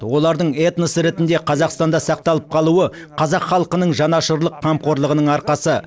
олардың этнос ретінде қазақстанда сақталып қалуы қазақ халқының жаңашырлық қамқорлығының арқасы